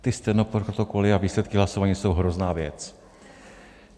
Ty stenoprotokoly a výsledky hlasování jsou hrozná věc.